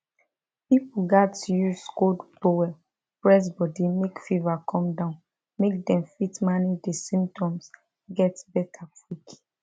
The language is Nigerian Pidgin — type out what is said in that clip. pipo gatz use cold towel press body make fever come down make dem fit manage di symptoms get beta quick